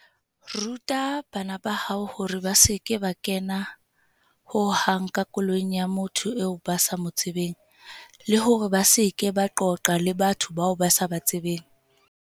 Ruta bana ba hao hore ba se ke ba kena ho hang ka koloing ya motho eo ba sa mo tsebeng, le hore ba se ke ba qoqa le batho bao ba sa ba tsebeng.